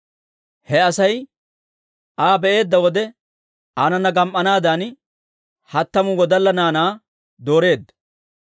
He Asay Aa be'eedda wode, aanana gam"anaadan hattamu wodalla naanaa dooreedda.